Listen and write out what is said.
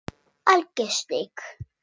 Alger steik